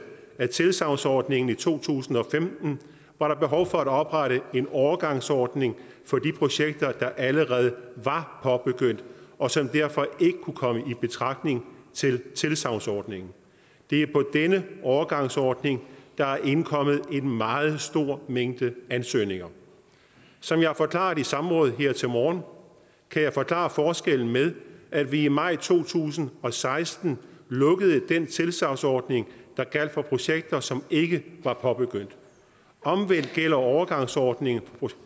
af tilsagnsordningen i to tusind og femten var der behov for at oprette en overgangsordning for de projekter der allerede var påbegyndt og som derfor ikke kunne komme i betragtning til tilsagnsordningen det er på den overgangsordning der er indkommet en meget stor mængde ansøgninger som jeg har forklaret i samrådet her til morgen kan jeg forklare forskellen med at vi i maj to tusind og seksten lukkede den tilsagnsordning der gjaldt for projekter som ikke var påbegyndt omvendt gælder overgangsordningen